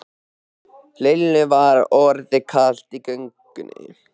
Lillu var orðið kalt á göngunni.